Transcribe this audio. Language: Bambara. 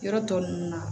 Yɔrɔ tɔ ninnu na